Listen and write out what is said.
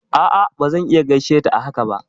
A'a bazan iya gaishe ta a haka ba